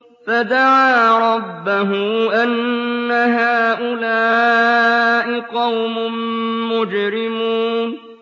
فَدَعَا رَبَّهُ أَنَّ هَٰؤُلَاءِ قَوْمٌ مُّجْرِمُونَ